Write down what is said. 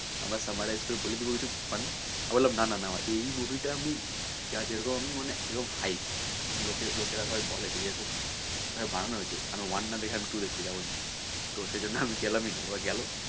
আমরা summarize করে বলে দেবো মানে আমি বললাম না না না এই movie টা আমি যা যেরকম মানে এরকম লোকেরা হয় বলে যে এরকম ভাবে বানানো হয়েছে তো one না দেখে আমি two দেখতে যাবই না তো সেজন্য আমি গেলাম ই না ওরা গেলো।